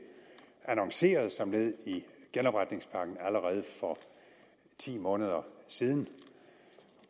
annonceret som led i genopretningspakken allerede for ti måneder siden